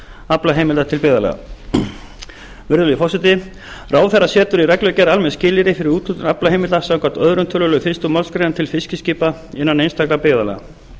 aflaheimilda til byggðarlaga virðulegi forseti ráðherra setur í reglugerð almenn skilyrði fyrir úthlutun aflaheimilda samkvæmt öðrum tölulið fyrstu málsgrein til fiskiskipa innan einstakra byggðarlaga